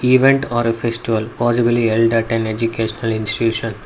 event or a festival possibly held at an educational institution.